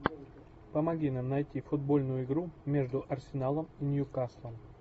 помоги нам найти футбольную игру между арсеналом и ньюкаслом